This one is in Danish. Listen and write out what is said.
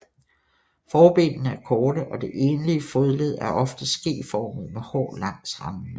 Forbenene er korte og det enlige fodled er ofte skeformet med hår langs randene